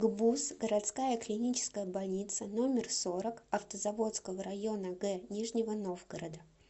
гбуз городская клиническая больница номер сорок автозаводского района г нижнего новгорода